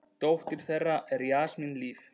Dóttir þeirra er Jasmín Líf.